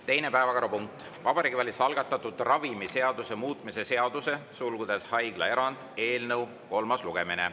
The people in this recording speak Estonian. Teine päevakorrapunkt: Vabariigi Valitsuse algatatud ravimiseaduse muutmise seaduse eelnõu kolmas lugemine.